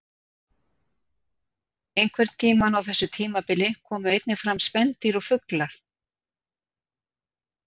Einhvern tímann á þessu tímabili komu einnig fram spendýr og fuglar.